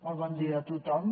molt bon dia a tothom